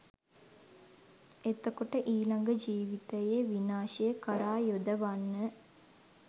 එතකොට ඊළඟ ජීවිතයේ විනාශය කරා යොදවන්න